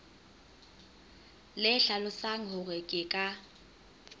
le hlalosang hore ke ka